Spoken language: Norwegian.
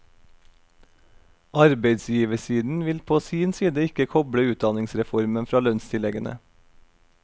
Arbeidsgiversiden vil på sin side ikke koble utdanningsreformen fra lønnstilleggene.